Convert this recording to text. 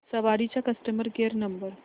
सवारी चा customer care number